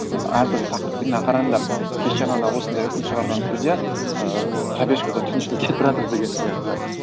әр түрлі тақырыппен мына қарандар кеше ғана осындай үкім шығарған судья ыыы пробежкада түн ішінде кетіп бара жатыр деген сияқты